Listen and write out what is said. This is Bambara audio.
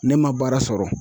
Ne ma baara sɔrɔ.